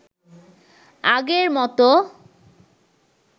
আগের মতো